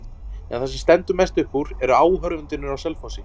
En það sem stendur mest upp úr eru áhorfendurnir á Selfossi.